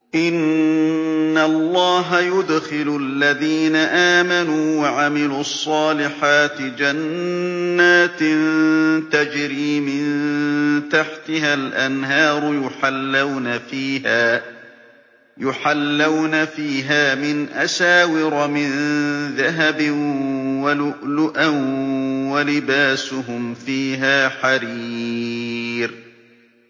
إِنَّ اللَّهَ يُدْخِلُ الَّذِينَ آمَنُوا وَعَمِلُوا الصَّالِحَاتِ جَنَّاتٍ تَجْرِي مِن تَحْتِهَا الْأَنْهَارُ يُحَلَّوْنَ فِيهَا مِنْ أَسَاوِرَ مِن ذَهَبٍ وَلُؤْلُؤًا ۖ وَلِبَاسُهُمْ فِيهَا حَرِيرٌ